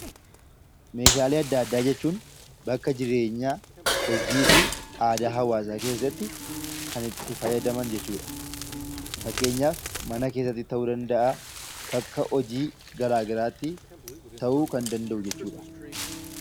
Meeshaalee adda addaa jechuun bakka jireenyaa, hojii fi aadaa hawaasaa keessatti kan itti fayyadaman jechuu dha. Fakkeenyaaf mana keessatti ta'uu danda'aa, bakka hojii garaa garaa tti ta'uu kan danda'u jechuu dha.